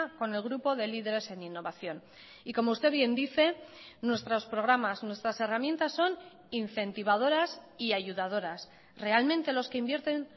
con el grupo de líderes en innovación y como usted bien dice nuestros programas nuestras herramientas son incentivadoras y ayudadoras realmente los que invierten